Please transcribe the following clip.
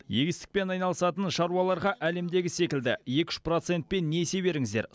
егістікпен айналысатын шаруаларға әлемдегі секілді екі үш процентпен несие беріңіздер